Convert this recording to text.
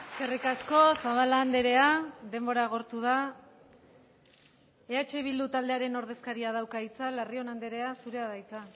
eskerrik asko zabala andrea denbora agortu da eh bildu taldearen ordezkariak dauka hitza larrion andrea zurea da hitza